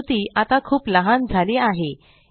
आकृती आता खूप लहान झाली आहे